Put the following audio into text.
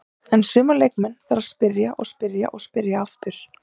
En suma leikmenn þarf að spyrja, spyrja og spyrja aftur.